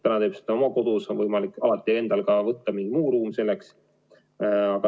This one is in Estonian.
Täna ta teeb seda oma kodus, aga alati on võimalik endale valida mingi muu ruum selleks.